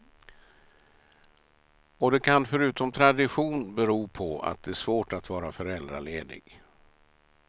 Och det kan förutom tradition bero på att det är svårt att vara föräldraledig.